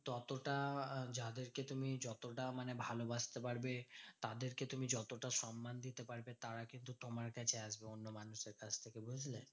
ততটা যাদেরকে তুমি যতটা মানে ভালোবাসতে পারবে, তাদেরকে তুমি যতটা সন্মান দিতে পারবে, তারা কিন্তু তোমার কাছে আসবে অন্য মানুষের কাছ থেকে বুঝলে?